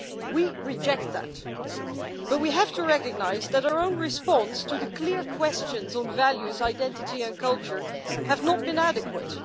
We reject that, but we have to recognise that our own response to the clear questions on values, identity and culture have not been adequate.